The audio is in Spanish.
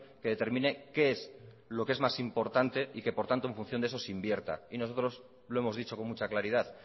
que determine qué es lo que es más importante y que por tanto en función de eso se invierta y nosotros lo hemos dicho con mucha claridad